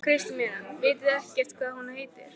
Kristín María: Vitið þið ekkert hvað hún heitir?